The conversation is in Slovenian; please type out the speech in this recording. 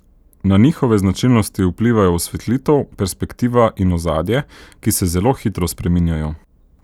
Na njihove značilnosti vplivajo osvetlitev, perspektiva in ozadje, ki se zelo hitro spreminjajo.